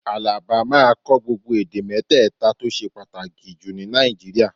Àlàbá máa kọ́ gbogbo èdè mẹ́tẹ̀ta tó ṣe pàtàkì jù ní Nàìjíríà